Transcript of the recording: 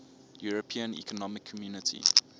european economic community